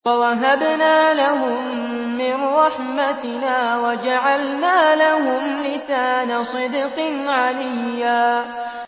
وَوَهَبْنَا لَهُم مِّن رَّحْمَتِنَا وَجَعَلْنَا لَهُمْ لِسَانَ صِدْقٍ عَلِيًّا